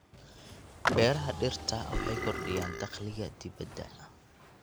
Beeraha dhirta waxay kordhiyaan dakhliga dibadda.